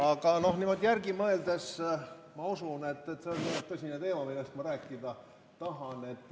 Aga noh, niimoodi järele mõeldes ma usun, et see on tõsine teema, millest ma rääkida tahan.